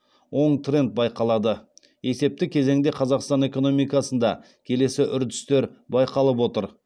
оң тренд байқалады есепті кезеңде қазақстан экономикасында келесі үрдістер байқалып отыр